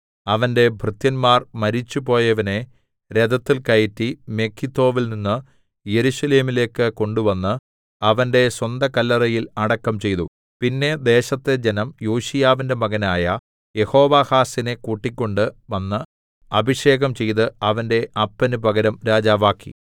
അവന്റെ ഭൃത്യന്മാർ മരിച്ചുപോയവനെ രഥത്തിൽ കയറ്റി മെഗിദ്ദോവിൽനിന്ന് യെരൂശലേമിലേക്ക് കൊണ്ടുവന്ന് അവന്റെ സ്വന്തകല്ലറയിൽ അടക്കം ചെയ്തു പിന്നെ ദേശത്തെ ജനം യോശീയാവിന്റെ മകനായ യെഹോവാഹാസിനെ കൂട്ടിക്കൊണ്ട് വന്ന് അഭിഷേകം ചെയ്ത് അവന്റെ അപ്പന് പകരം രാജാവാക്കി